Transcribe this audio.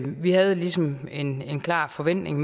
vi havde ligesom en klar forventning